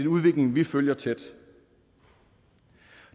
udvikling vi følger tæt